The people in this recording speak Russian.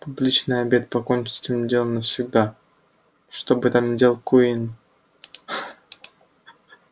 публичный обед покончит с этим делом навсегда что бы там ни делал куинн